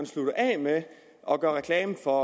slutter af med at gøre reklame for